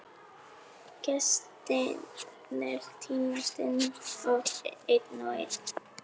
Gestirnir tínast inn, einn og einn.